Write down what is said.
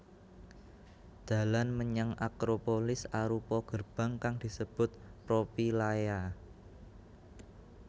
Dalan menyang Acropolis arupa gerbang kang disebut Propylaea